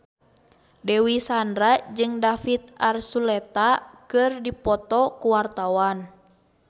Dewi Sandra jeung David Archuletta keur dipoto ku wartawan